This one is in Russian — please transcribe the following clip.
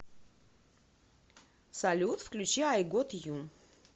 салют включи ай гот ю